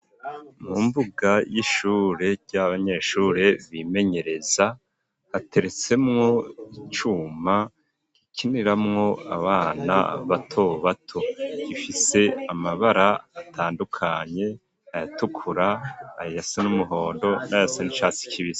Mu mbuga y'ishure y'abanyeshure bimenyereza hateretsemwo icuma gikiniramwo abana bato bato gifise amabara atandukanye ayatukura ayasa n'umuhondo n'ayasa nicatsi kibisi.